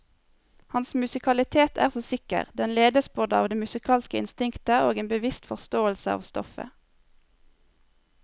Hans musikalitet er så sikker, den ledes både av det musikalske instinktet og en bevisst forståelse av stoffet.